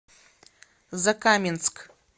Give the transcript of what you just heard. закаменск